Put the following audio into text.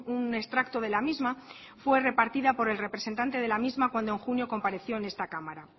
un extracto de la misma fue repartido por el representante de la misma cuando en junio compareció en esta cámara